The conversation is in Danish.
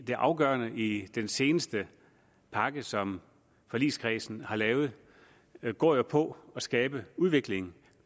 det afgørende i den seneste pakke som forligskredsen har lavet går jo på at skabe udvikling